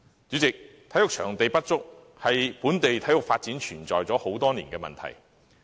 主席，體育場地不足，是本地體育發展存在多年的問題。